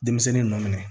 Denmisɛnnin nɔ minɛ